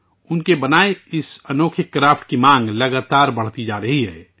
ان کے ذریعے بنائے گئے اس حیرت انگیز ہنر کی مانگ مسلسل بڑھ رہی ہے